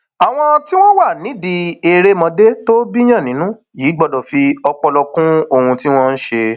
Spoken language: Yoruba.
àwọn tí wọn wà nídìí erémọdé tó bíiyàn nínú yìí gbọdọ fi ọpọlọ kún ohun tí wọn ń ṣe